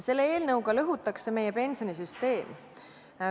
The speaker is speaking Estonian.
Selle eelnõuga lõhutakse meie pensionisüsteem.